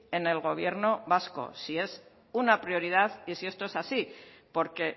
en el gobierno vasco si es una prioridad y si esto es así porque